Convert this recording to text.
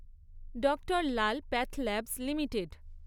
Dr Lal PathLabs limited